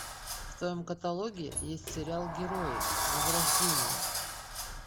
в твоем каталоге есть сериал герои возрождение